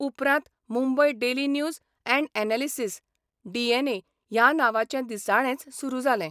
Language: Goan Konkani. उपरांत Mumbai daily news and analysis DNA ह्या नांवाचें दिसाळेंच सुरू जालें.